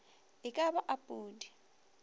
e ka ba a pudi